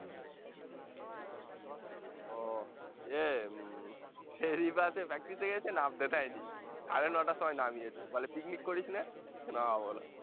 ও এ উম practice এ গেছে নাবতে যায়নি সাড়ে নটার সময় নামিয়েছে, বলে picnic করিসনে